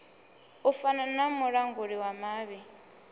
fana na mulanguli wa mavhi